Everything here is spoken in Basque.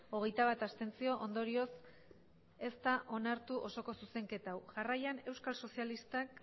hogeita bat abstentzio ondorioz ez da onartu osoko zuzenketa hau jarraian euskal sozialistak